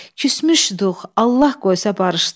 Küsmüşdük, Allah qoysa barışdıq.